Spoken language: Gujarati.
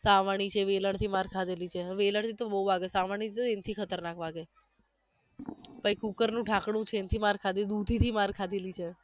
સાવરણી છે વેલણથી માર ખાધેલી છે વેલણથી તો બવ વાગે સાવરણીથી તો એનથી ખતરનાક વાગે પહી કુકરનું ઢાકણું છે એનથી માર ખાધી દુધીથી માર ખાધેલી છે